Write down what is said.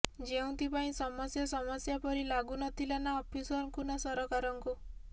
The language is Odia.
ଯେଉଁଥିପାଇଁ ସମସ୍ୟା ସମସ୍ୟା ପରି ଲାଗୁ ନ ଥିଲା ନା ଅଫିସରଙ୍କୁ ନା ସରକାରଙ୍କୁ